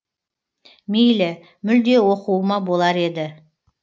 мейлі мүлде оқуыма болар еді